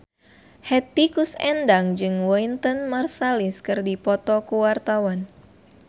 Hetty Koes Endang jeung Wynton Marsalis keur dipoto ku wartawan